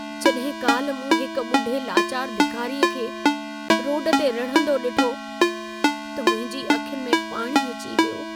जॾहिं काल्ह मूं हिक ॿुढ़े लाचार भिखारीअ खे रोड ते रिड़हंदो ॾिठो, त मुंहिंजी अखियुनि में पाणी अची वियो।